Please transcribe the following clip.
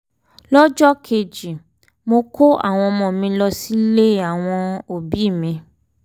lọ́jọ́ kejì mo kó àwọn ọmọ mi lọ sílé àwọn òbí mi